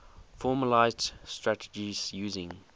formalised strategies using